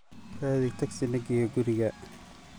raadhi tagsi nageyo guri gaa